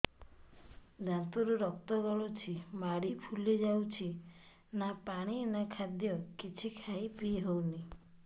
ଦାନ୍ତ ରୁ ରକ୍ତ ଗଳୁଛି ମାଢି ଫୁଲି ଯାଉଛି ନା ପାଣି ନା ଖାଦ୍ୟ କିଛି ଖାଇ ପିଇ ହେଉନି